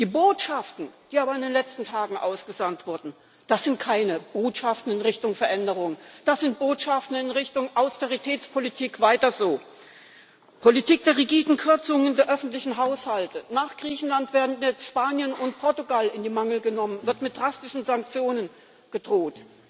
Die Botschaften aber, die in den letzten Tagen ausgesandt wurden, das sind keine Botschaften in Richtung Veränderung. Das sind Botschaften in Richtung Austeritätspolitik weiter so Politik der rigiden Kürzungen der öffentlichen Haushalte. Nach Griechenland werden jetzt Spanien und Portugal in die Mangel genommen, wird mit drastischen Sanktionen gedroht.